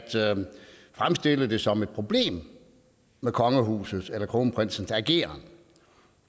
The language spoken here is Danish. fremstille det som et problem med kongehusets eller kronprinsens ageren